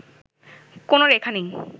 কোন রেখা নেই